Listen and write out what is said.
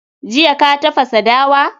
Jiya ka tafasa dawa?